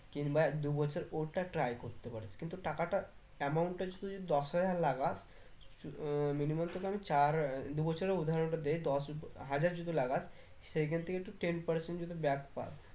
কিংবা এক দু বছর ওইটা try করতে পারিস কিন্তু টাকাটা amount টা যদি তুই দশ হাজার লাগাস minimum সেটা আমি চার আহ দু বছরের উদাহরণটা দেয় দশ হাজার যদি লাগাস সেই ক্ষেত্রে কিন্তু ten percent যদি back পাশ